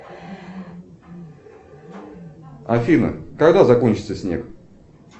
афина когда закончится снег